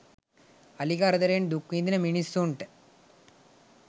අලි කරදරෙන් දුක් විඳින මිනිස්සුන්ට